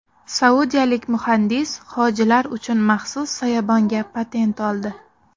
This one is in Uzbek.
Saudiyalik muhandis hojilar uchun maxsus soyabonga patent oldi.